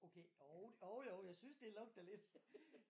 Okay jo jo jo jeg synes det lugter lidt